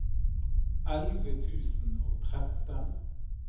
elleve tusen og tretten